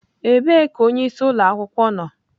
Ebee ka onyeisi ụlọ akwụkwọ nọ?